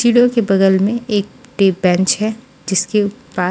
चिडो के बगल में एक टेप बेन्च है जिसकी पा--